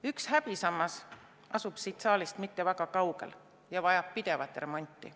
Üks häbisammas asub siit saalist mitte väga kaugel ja vajab pidevat remonti.